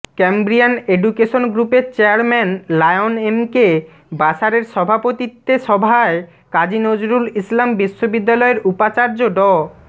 Cambrian education গ্রুপের chairman Lion MK বাশারের সভাপতিত্বে সভায় কাজী নজরুল ইসলাম বিশ্ববিদ্যালয়ের উপাচার্য ড